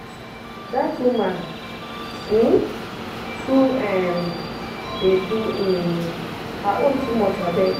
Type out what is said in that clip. dat woman um too um dey do um her own too much abeg.